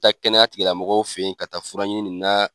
taa kɛnɛya tigi lamɔgɔw fɛ ye ka taa fura ɲini na